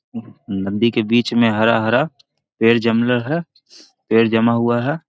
नंदी के बीच मे हरा-हरा पेड़ जमला हेय पेड़ जमा हुआ है।